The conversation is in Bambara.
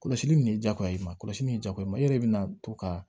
Kɔlɔsili in de diyagoya i ma kɔlɔsili in diyagoya i yɛrɛ de bɛna to ka